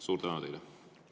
Suur tänu teile!